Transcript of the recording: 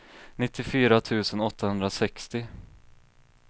nittiofyra tusen åttahundrasextio